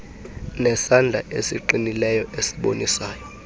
nesandla esiqinileyo esibonisayo